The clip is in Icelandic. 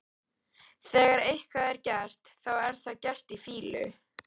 Þegar eitthvað er gert, þá er það gert í fýlu.